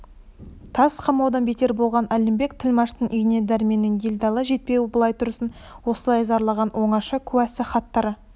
тас қамаудан бетер болған әлімбек тілмаштың үйіне дәрменнің делдалы жетпеуі былай тұрсын осылай зарлаған оңаша куәсы хаттары